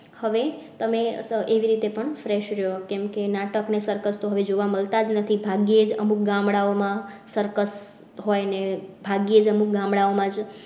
હવે તમે એવી રીતે પણ fresh રહ્યો કેમ કે નાટક ને circus તો હવે જોવા મળતાં જ નથી. ભાગ્યે જ અમુક ગામડાઓ માં circus હોય ને ભાગ્યે જ અમુક ગામડાઓ માં જ